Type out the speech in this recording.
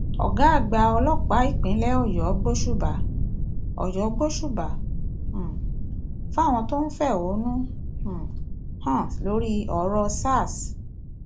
ọgá àgbà ọlọpàá ìpínlẹ ọyọ gbóṣùbà ọyọ gbóṣùbà um fáwọn tó ń fẹhónú um hàn lórí ọrọ sars